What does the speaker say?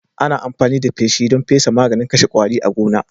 Ana amfani da feshi don fesa maganin kashe kwari a gona